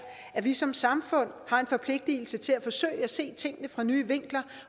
at vi som samfund har en forpligtelse til at forsøge at se tingene fra nye vinkler